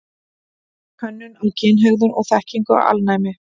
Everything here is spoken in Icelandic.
Könnun á kynhegðun og þekkingu á alnæmi.